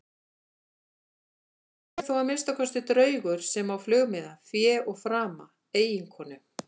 En ég er þó að minnsta kosti draugur sem á flugmiða, fé og frama, eiginkonu.